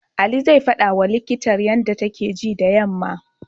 Ali zai faɗawa likitan yanda take ji da yammam.